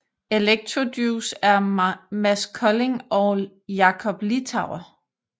Electrojuice er Mads Kolding og Jakob Littauer